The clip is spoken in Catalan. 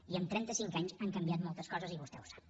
i en trenta cinc anys han canviat moltes coses i vostè ho sap